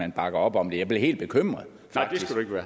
man bakker op om det jeg blev helt bekymret